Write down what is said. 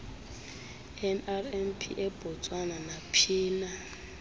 nrmp ebotswana naphina